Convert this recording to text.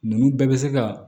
Ninnu bɛɛ bɛ se ka